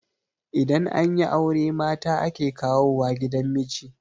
idan an yi aure mata ake kawo wa gidan miji